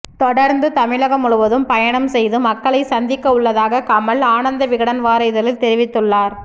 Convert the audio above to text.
தொடர்ந்து தமிழகம் முழுவதும் பயணம் செய்து மக்களை சந்திக்க உள்ளதாக கமல் ஆனந்தவிகடள் வார இதழில் தெரிவித்துள்ளார்